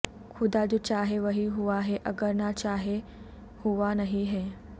خدا جو چاہے وہی ہوا ہے اگر نہ چاہے ہوا نہیں ہے